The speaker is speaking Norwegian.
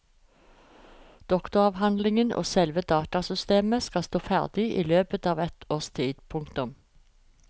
Doktoravhandlingen og selve datasystemet skal stå ferdig i løpet av et års tid. punktum